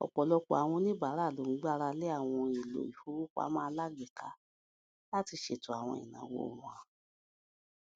ọpọlọpọ àwọn oníbàárà ló ń gbára lé àwọn ohun èlò ìfowópamọ alágbèéká láti ṣètò àwọn ìnáwó wọn